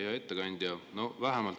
Hea ettekandja!